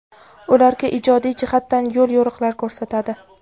ularga ijodiy jihatdan yo‘l-yo‘riqlar ko‘rsatadi;.